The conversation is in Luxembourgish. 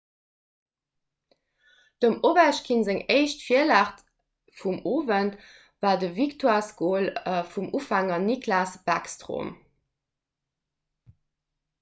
dem ovechkin seng éischt virlag vum owend war de victoiresgol vum ufänger nicklas backstrom